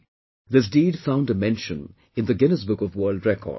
This deed found a mention in Guinness Book of World Records